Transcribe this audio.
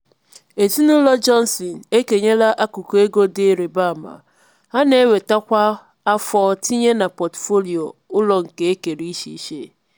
ezinụlọ johnsons ekenyela akụkụ ego dị irịba ama ha na-enweta kwa afọ tinye na pọtụfoliyo ụlọ nke ekere iche iche.